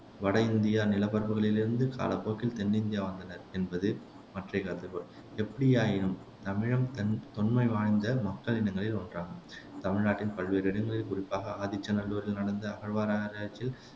வட இந்தியா நிலப்பரப்புகளில் இருந்து காலப்போக்கில் தென் இந்தியா வந்தனர் என்பது மற்றைய கருதுகோள் எப்படியாயினும் தமிழம் தன் தொன்மை வாய்ந்த மக்கள் இனங்களில் ஒன்றாகும் தமிழ்நாட்டின் பல்வேறு இடங்களில் குறிப்பாக ஆதிச்ச நல்லூரில் நடந்த அகழ்வாராய்ச்சியில்